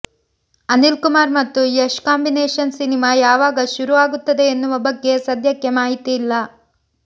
ಅನಿಲ್ ಕುಮಾರ್ ಮತ್ತು Yash combination cinema ಯಾವಗ ಶುರು ಆಗುತ್ತದೆ ಎನ್ನುವ ಬಗ್ಗೆ ಸದ್ಯಕ್ಕೆ ಮಾಹಿತಿ ಇಲ್ಲ